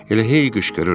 Elə hey qışqırır.